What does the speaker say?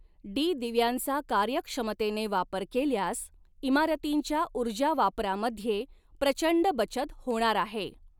डीदिव्यांचा कार्यक्षमतेने वापर केल्यास इमारतींच्या ऊर्जावापरामध्ये प्रचंड बचत होणार आहे.